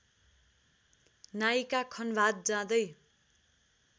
नायिका खन्भात जाँदै